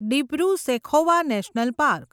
Dibru Saikhowa national park